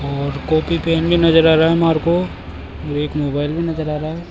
और copy pen भी नजर आ रहा है हमारे को एक मोबाइल भी नजर आ रहा है।